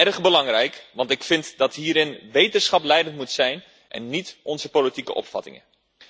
Erg belangrijk, want ik vind dat hierin wetenschap leidend moet zijn en niet onze politieke opvattingen.